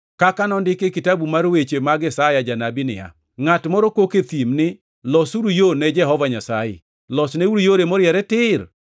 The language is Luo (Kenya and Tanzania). Kaka nondiki e kitabu mar weche mag Isaya janabi niya: “Ngʼat moro kok e thim ni, ‘Losuru yo ne Jehova Nyasaye, losneuru yore moriere tir.